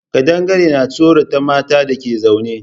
Ƙadangare ya tsorata matan dake zaune